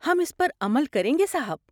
ہم اس پر عمل کریں گے، صاحب۔